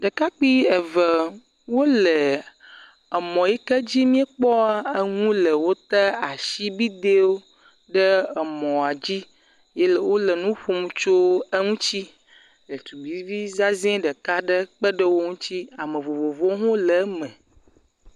Ɖekakpui eve wole mɔ yi ke dzi míekpɔ ŋu le wota asibiɖewo ɖe mɔa dzi ye wole nu ƒom tso eŋuti. Ɖetugbivi zazɛ ɖeka kpe ɖe wo ŋuti, ame vovovowo ho le eme.